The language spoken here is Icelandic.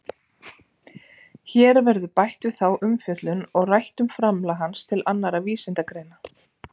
Hér verður bætt við þá umfjöllun og rætt um framlag hans til annarra vísindagreina.